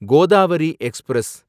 Godavari express